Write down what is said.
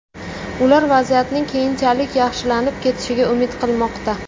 Ular vaziyatning keyinchalik yaxshilanib ketishiga umid qilmoqda.